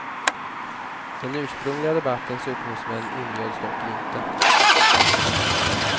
Den ursprungliga debattens upphovsmän inbjöds dock inte.